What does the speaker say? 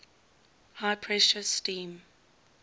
high pressure steam